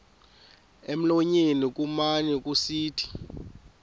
emlonyeni kumane kusithi